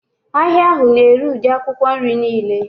Ahịa ahụ na-ere ụdị akwụkwọ nri niile